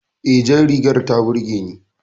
E, jar rigar ta burge ni